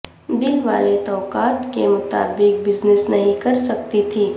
دل والے توقعات کے مطابق بزنس نہیں کر سکتی تھی